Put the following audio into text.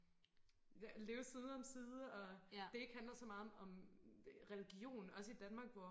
leve side om side og det ikke handler så meget om om religion også i Danmark hvor